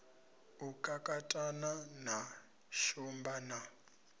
u kakatana na shumba na